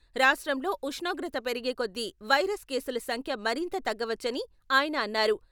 రాష్ట్రంలో ఉష్ణోగ్రత పెరిగేకొద్ది వైరస్ కేసుల సంఖ్య మరింత తగ్గవచ్చని ఆయన అన్నారు.